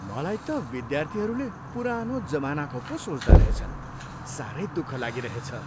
मलाई त विद्यार्थीहरूले पुरानो जमानाको पो सोच्दा रहेछन्। साह्रै दुःख लागिरहेछ।